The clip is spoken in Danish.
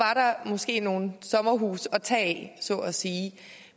måske nogle sommerhuse at tage af så at sige